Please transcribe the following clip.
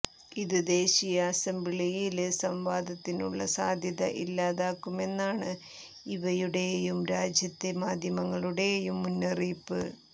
ഇത് ദേശീയ അസംബ്ലിയില് സംവാദത്തിനുള്ള സാധ്യത ഇല്ലാതാക്കുമെന്നാണ് ഇവയുടെയും രാജ്യത്തെ മാധ്യമങ്ങളുടെയും മുന്നറിയിപ്പ്